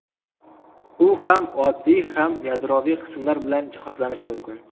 U ham oddiy, ham yadroviy qismlar bilan jihozlanishi mumkin.